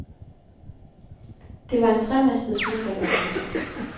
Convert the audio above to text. Det var en tremastet fuldrigger. punktum